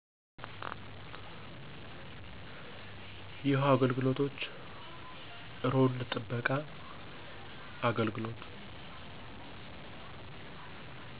የውሃ አገልግሎቶች፣ እሮንድ ጥበቃ፣ አግልግሎት